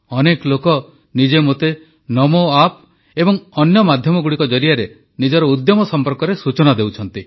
ଅନେକ ଲୋକ ନିଜେ ମୋତେ ନମୋ ଆପ ଏବଂ ଅନ୍ୟ ମାଧ୍ୟମଗୁଡ଼ିକ ଜରିଆରେ ନିଜର ଉଦ୍ୟମ ସମ୍ପର୍କରେ ସୂଚନା ଦେଉଛନ୍ତି